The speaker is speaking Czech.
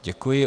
Děkuji.